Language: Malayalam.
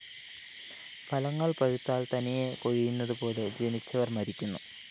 ഫലങ്ങള്‍ പഴുത്താല്‍ തനിയെ കൊഴിയുന്നതുപോലെ ജനിച്ചവര്‍ മരിക്കുന്നു